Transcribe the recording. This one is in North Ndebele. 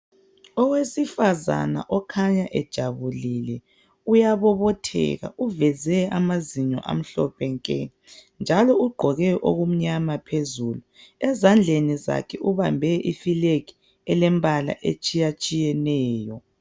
Owesifazana okhanya ejabulile, uyabobotheka uveze amazinyo amhlophe nke njalo ugqoke okumnyama phezulu, ezandleni zakhe ubambe ifulegi elembala etshiya tshiyeneyo.